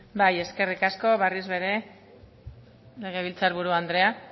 bai eskerrik asko berriz ere legebiltzar buru andrea